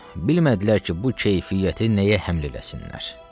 Bilmədilər ki, bu keyfiyyəti nəyə həml eləsinlər.